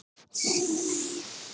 Hún býr í